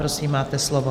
Prosím, máte slovo.